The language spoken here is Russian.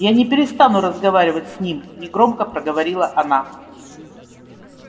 я не перестану разговаривать с ним негромко проговорила она